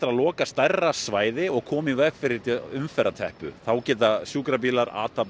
loka stærra svæði og koma í veg fyrir umferðarteppu þá geta sjúkrabílar athafnað